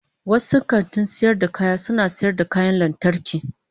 wasu kantin sayar da kaya suna sayar da kayan lantarki.